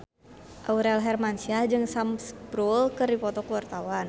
Aurel Hermansyah jeung Sam Spruell keur dipoto ku wartawan